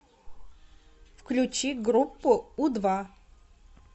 включи группу у два